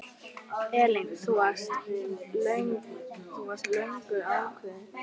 Elín: Þú varst löngu ákveðin?